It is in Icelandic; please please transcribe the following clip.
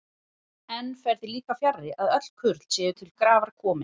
Enn fer því líka fjarri, að öll kurl séu til grafar komin.